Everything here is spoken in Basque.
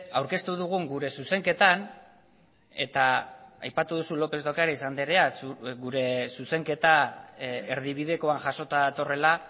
aurkeztu dugun gure zuzenketan eta aipatu duzu lópez de ocariz andrea gure zuzenketa erdibidekoan jasota datorrela